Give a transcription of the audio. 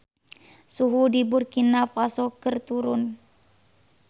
Suhu di Burkina Faso keur turun